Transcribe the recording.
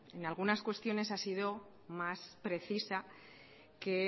en algunas cuestiones ha sido más precisa que